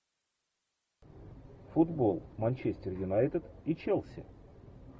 футбол манчестер юнайтед и челси